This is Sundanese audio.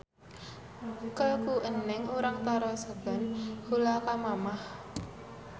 Ke ku Eneng urang taroskeun heula ka Mamah.